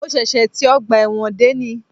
Mo ṣẹ̀ṣẹ̀ ti ọgbà ẹ̀wọ̀n dé ní